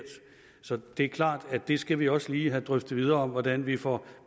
så det er klart at det skal vi også lige have drøftet videre hvordan vi får